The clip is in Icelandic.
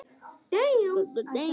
Þannig er fólk.